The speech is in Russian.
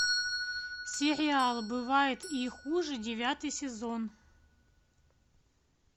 сериал бывает и хуже девятый сезон